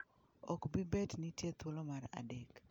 ok bi bet ni nitie thuolo mar adek .